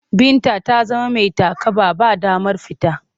Binta ta zama mai takaba. Ba damar fita.